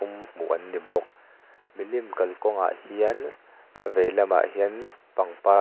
hmuh an ni bawk milim kalkawngah hian a vei lamah hian pangpar--